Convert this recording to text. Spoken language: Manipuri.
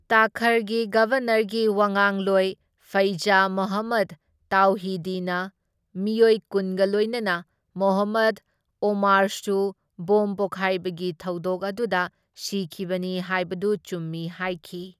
ꯇꯥꯈꯔꯒꯤ ꯒꯕꯔꯅꯔꯒꯤ ꯋꯥꯉꯥꯡꯂꯣꯏ ꯐꯩꯖ ꯃꯣꯍꯝꯃꯗ ꯇꯥꯎꯍꯤꯗꯤꯅ ꯃꯤꯑꯣꯏ ꯀꯨꯟꯒ ꯂꯣꯢꯅꯅ ꯃꯣꯍꯝꯃꯗ ꯑꯣꯃꯥꯔꯁꯨ ꯕꯣꯝ ꯄꯣꯈꯥꯏꯕꯒꯤ ꯊꯧꯗꯣꯛ ꯑꯗꯨꯗ ꯁꯤꯈꯤꯕꯅꯤ ꯍꯥꯢꯕꯗꯨ ꯆꯨꯝꯃꯤ ꯍꯥꯢꯈꯤ꯫